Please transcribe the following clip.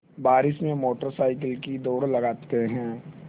बारिश में motorcycle की दौड़ लगाते हैं